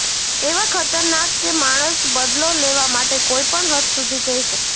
એવા ખતરનાક કે માણસ બદલો લેવા માટે કોઇપણ હદ સુધી જઇ શકે